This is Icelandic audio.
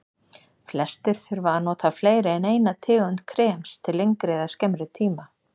Flestir þurfa að nota fleiri en eina tegund krems til lengri eða skemmri tíma.